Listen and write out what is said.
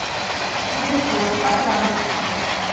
телефон катран